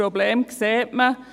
Das Problem sieht man.